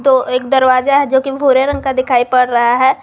वो एक दरवाजा है जो कि भूरे रंग का दिखाई पड़ रहा है।